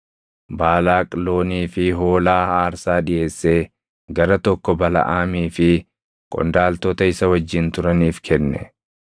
Baalaaq loonii fi hoolaa aarsaa dhiʼeessee gara tokko Balaʼaamii fi qondaaltota isa wajjin turaniif kenne.